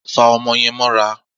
Fa o̩mo̩ ye̩n mó̩ra!